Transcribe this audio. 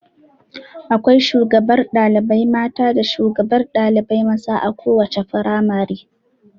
Akwai shugabar ɗalibai mata da shugaban ɗalibai maza a kowace firamare.